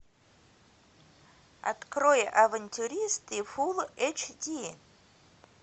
открой авантюристы фулл эйч ди